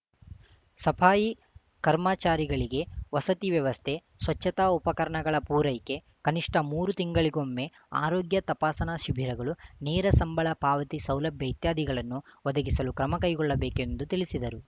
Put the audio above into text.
ಸಪಾಯಿ ಕರ್ಮಚಾರಿಗಳಿಗೆ ವಸತಿ ವ್ಯವಸ್ಥೆ ಸ್ವಚ್ಛತಾ ಉಪಕರಣಗಳ ಪೂರೈಕೆ ಕನಿಷ್ಠ ಮೂರು ತಿಂಗಳಿಗೊಮ್ಮೆ ಆರೋಗ್ಯ ತಪಾಸಣಾ ಶಿಬಿರಗಳು ನೇರ ಸಂಬಳ ಪಾವತಿ ಸೌಲಭ್ಯ ಇತ್ಯಾದಿಗಳನ್ನು ಒದಗಿಸಲು ಕ್ರಮ ಕೈಗೊಳ್ಳಬೇಕೆಂದು ತಿಳಿಸಿದರು